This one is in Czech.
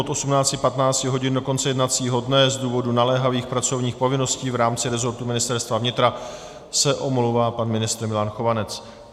Od 18.15 hodin do konce jednacího dne z důvodu naléhavých pracovních povinností v rámci resortu Ministerstva vnitra se omlouvá pan ministr Milan Chovanec.